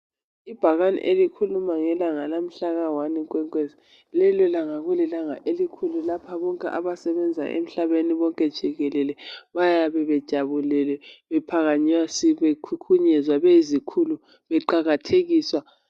Ibhakane elikhuluma ngelanga lamhlaka wani Nkwenkwezi, lelo langa kulilanga elikhulu, lapha bonke abasebenza emhlabeni bonke jikelele bayabe bejabulele bephakanyisiwe bekhukhunyezwa beyizikhulu, beqakathekiswa.